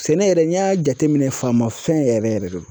Sɛnɛ yɛrɛ n'i y'a jateminɛ faamafɛn yɛrɛ yɛrɛ don